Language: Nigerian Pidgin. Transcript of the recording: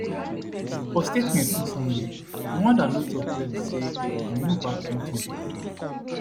for statement on sunday rwanda no tok clearly say dem no back m23